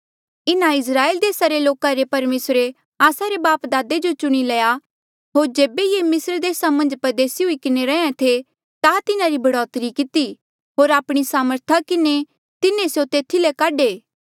इन्हा इस्राएल देसा रे लोका रे परमेसरे आस्सा रे बापदादे जो चुणी लया होर जेबे ये मिस्र देसा मन्झ परदेसी हुई किन्हें रैहें थे ता तिन्हारी बढ़ौतरी किती होर आपणी सामर्थ किन्हें तिन्हें स्यों तेथी ले काढे